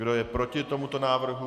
Kdo je proti tomuto návrhu?